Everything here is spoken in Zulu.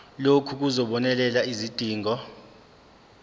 lokhu kuzobonelela izidingo